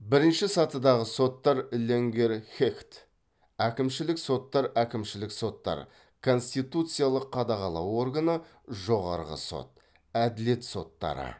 бірінші сатыдағы соттар ленгерхехт әкімшілік соттар әкімшілік соттар конституциялық қадағалау органы жоғарғы сот әділет соттары